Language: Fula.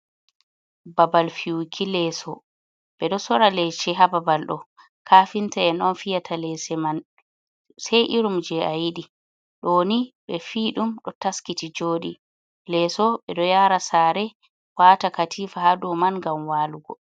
Babal fi'uki leeso, ɓe ɗo soora leeshe Haa babal ɗo, kafinta en on fiyata leeshe man, sai irum je a yiɗi ɗooni ɓe fi ɗum ɗo taskiti jooɗii, leeso ɓe ɗo yaara saare waata katiifa Haa doo man ngam walugo.